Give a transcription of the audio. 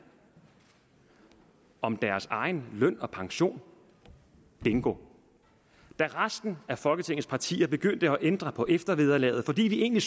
om deres egen løn og pension bingo da resten af folketingets partier begyndte at ændre på eftervederlaget fordi vi egentlig